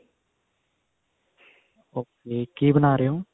ok ਕੀ ਬਣਾ ਰਹੇ ਹੋ